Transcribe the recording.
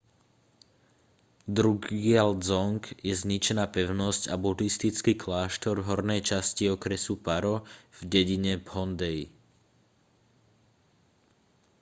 drukgyal dzong je zničená pevnosť a budhistický kláštor v hornej časti okresu paro v dedine phondey